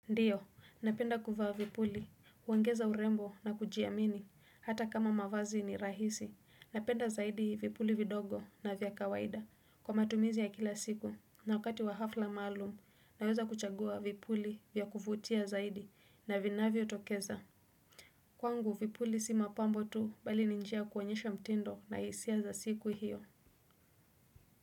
Ndiyo, napenda kuvaa vipuli, uongeza urembo na kujiamini, hata kama mavazi ni rahisi, napenda zaidi vipuli vidogo na vya kawaida, kwa matumizi ya kila siku, na wakati wa hafla maalum, naweza kuchagua vipuli vya kuvutia zaidi na vinavyotokeza. Kwangu vipuli si mapambo tu, bali ni njia kuonyesha mtindo na hisia za siku hiyo.